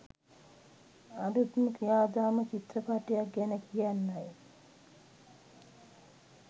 අලුත්ම ක්‍රියාදාම චිත්‍රපටියක් ගැන කියන්නයි.